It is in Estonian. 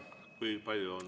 Kui palju ma annan?